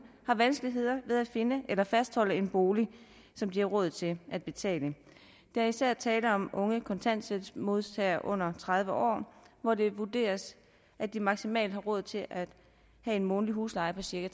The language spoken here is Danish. har vanskeligheder med at fastholde en bolig som de har råd til at betale der er især tale om unge kontanthjælpsmodtagere under tredive år hvor det vurderes at de maksimalt har råd til at have en månedlig husleje på cirka